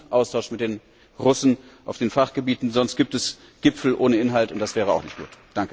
Es gibt genug Austausch mit den Russen in den Fachgebieten, sonst gibt es Gipfel ohne Inhalt, und das wäre auch nicht gut.